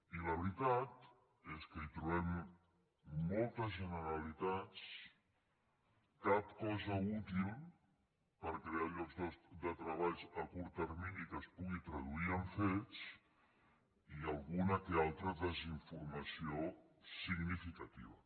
i la veritat és que hi trobem moltes generalitats cap cosa útil per crear llocs de treball a curt termini que es pugui traduir en fets i alguna o altra desinformació significativa